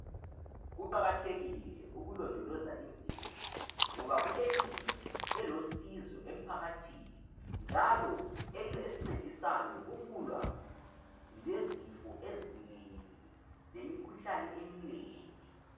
Kuqakathekile ukulondoloza imvelo ngoba kulemithi elusizo emphakathini njalo esincedisayo ukulwa lezifo ezinengi lemikhuhlane eminengi.